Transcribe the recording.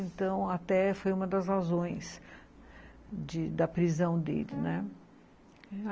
Então, até foi uma das razões de da prisão dele, né, ah...